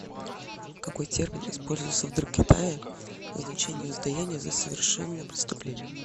какой термин использовался в др китае в значении воздаяния за совершенное преступление